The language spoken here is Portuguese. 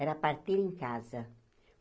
Era a parteira em casa.